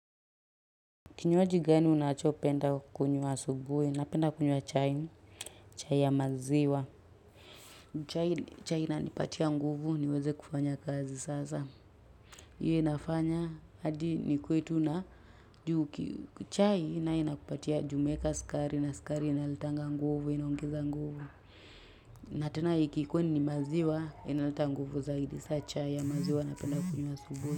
Kinywaji gani unachopenda kunywa asubuhi? Napenda kunywa chai. Chai ya maziwa. Chai inanipatia nguvu niweze kufanya kazi sasa. Hiyo inafanya hadi nikuwe tu na chai inakupatia juu umeeka sukari na sukari inaletanga nguvu inaongeza nguvu. Na tena ikikuwa ni ni maziwa inaleta nguvu zaidi. Saa chai ya maziwa napenda kunywa asubuhi.